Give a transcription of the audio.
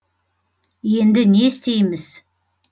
енді не істейміз